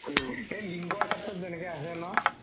এই লিংগৰ শেত্ৰত যেনেকে আছে ন